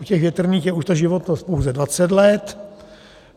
U těch větrných je už ta životnost pouze 20 let.